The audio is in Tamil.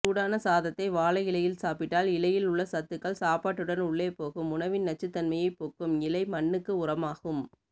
சூடான சாதத்தை வாழை இலையில் சாப்பிட்டால் இலையில்உள்ள சத்துக்கள் சாப்பாட்டுடன்உள்ளே போகும்உணவின் நச்சுத்தன்மையை போக்கும் இலைமண்ணக்கு உரமாகும்